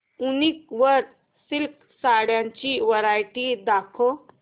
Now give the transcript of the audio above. वूनिक वर सिल्क साड्यांची वरायटी दाखव